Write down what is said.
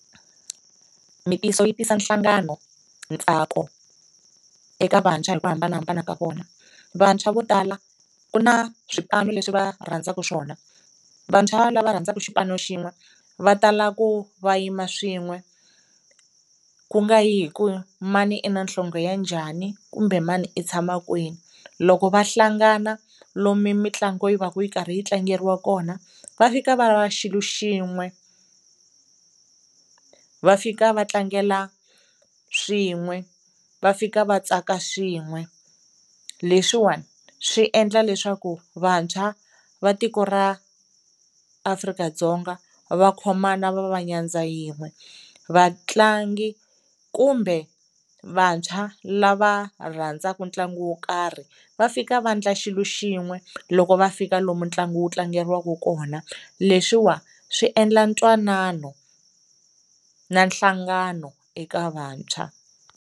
yi tisa nhlangano, ntsako eka vantshwa hi ku hambanahambana ka vona. Vantshwa vo tala ku na swipano leswi va rhandzaka swona, vantshwa lava rhandzaka xipano xin'we va tala ku va yima swin'we ku nga yi hi ku mani i na nhlonge ya njhani kumbe mani i tshama kwini. Loko va hlangana lomu mitlangu yi va ka yi karhi yi tlangeriwa kona va fika va va xilo xin'we, va fika va tlangela swin'we, va fika va tsaka swin'we. Leswiwani swi endla leswaku vantshwa va tiko ra Afrika-Dzonga va khomana va va nyadza yin'we. Vatlangi kumbe vantshwa lava rhandzaka ntlangu wo karhi va fika va endla xilo xin'we loko va fika lomu ntlangu wu tlangeriwaka kona, leswiwa swi endla ntwanano na nhlangano eka vantshwa.